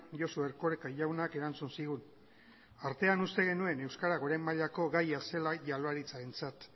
josu erkoreka jaunak erantzun zigun artean uste genuen euskara goren mailako gaia zela jaurlaritzarentzat